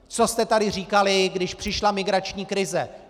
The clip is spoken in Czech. Co jste tady říkali, když přišla migrační krize?